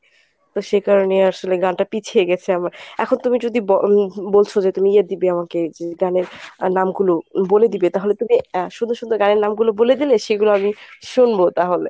তো সেকারণে আসলে গানটা পিছিয়ে গেছে আমার এখন তুমি যদি বল বলছো যে তুমি ইয়ে দিবে আমাকে গানের নাম গুলো বলে দিবে তাহলে তুমি সুন্দর সুন্দর গানের নাম গুলো বলে দিলে সেগুলো আমি শুনবো তাহলে।